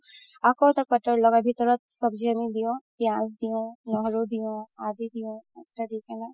আকৌ butter লগাই ভিতৰত চবজি আমি দিও পিয়াজ দিও নহৰু দিও হালদি দিও দি কিনে